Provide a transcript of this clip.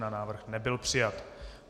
Návrh nebyl přijat.